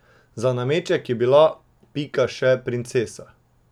Za nameček je bila Pika še princesa.